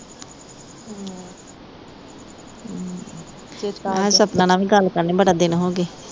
ਮੈਂ ਕਿਹਾ ਸਪਨਾ ਨਾ ਵੀ ਗੱਲ ਕਰਨੀ ਬੜਾ ਦਿਨ ਹੋਗੇ